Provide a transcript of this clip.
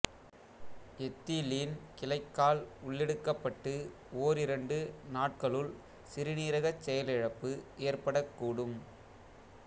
ethylene glycol உள்ளெடுக்கப்பட்டு ஓரிரண்டு நாட்களுள் சிறுநீரகச் செயலிழப்பு ஏற்படக்கூடும்